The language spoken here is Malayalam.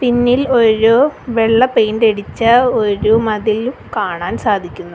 പിന്നിൽ ഒരു വെള്ള പെയിൻ്റ് അടിച്ച ഒരു മതിലും കാണാൻ സാധിക്കുന്നു.